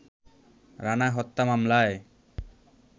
রানা হত্যা মামলায়